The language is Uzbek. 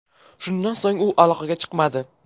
Shundan so‘ng u aloqaga chiqmadi.